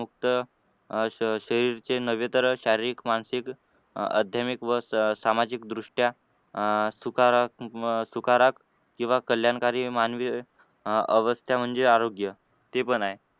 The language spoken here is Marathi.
अं शरीरच नव्हे तर शारीरिक मानसिक अह अध्यात्मिक व सामाजिक दृष्ट्या अह सकारात्मक सकारा किंवा कल्याणकारी मानवी अह अवस्था म्हणजे आरोग्य ते पण आहे.